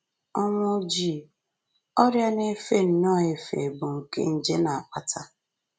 Ọnwụ Ojii: Ọrịa na-efe nnọọ efe bụ́ nke nje na-akpata